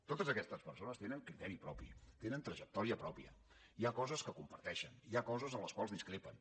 totes aquestes persones tenen criteri propi tenen trajectòria pròpia hi ha coses que comparteixen hi ha coses en les quals discrepen